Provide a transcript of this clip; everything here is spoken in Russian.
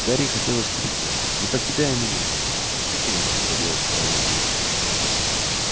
гарри хотелось крикнуть не покидай меня но что феникс мог поделать с королём змей